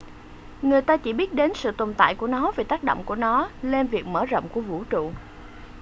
người ta chỉ biết đến sự tồn tại của nó vì tác động của nó lên việc mở rộng của vũ trụ